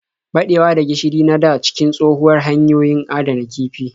Baɗewa da gishiri na da cikin tshohuwar hanyar adana kifi.